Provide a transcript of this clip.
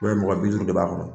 mɔgɔ bi duuru de ba kɔnɔ.